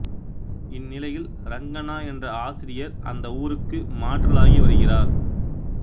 இந்நிலையில் ரங்கண்ணா என்ற ஆசிரியர் அந்த ஊருக்கு மாற்றலாகி வருகிறார்